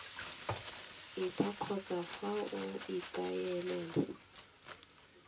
eta kgotsa fa o ikaelela